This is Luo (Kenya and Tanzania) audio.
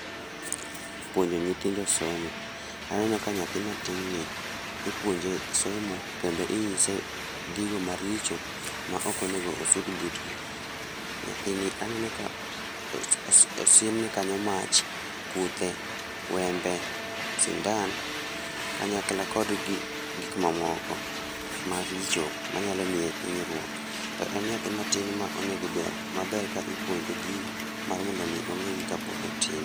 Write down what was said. Puonjo nyithindo somo. Anenoka nyathi matin ni ipuonje somo kendo inyise gigo maricho maok onego osud butgi. Nyathini aneno ka osiem ne kanyo mach, kuthe, wembe, sindan, kanyakla kod gik mamoko maricho manyalo miye hinyruok. To en nyathi matin ma onego ber, maber ka ipuonje gigo mar mondo ongegi kapod otin